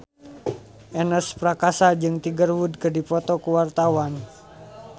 Ernest Prakasa jeung Tiger Wood keur dipoto ku wartawan